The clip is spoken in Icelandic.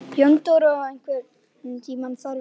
Jóndóra, einhvern tímann þarf allt að taka enda.